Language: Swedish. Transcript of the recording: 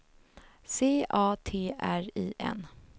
C A T R I N